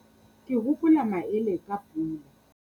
Ke hopola maele ka pula.